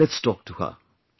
Come , let us talk to her